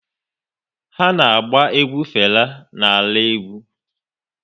Ha na-agba egwu Fela na ala egwu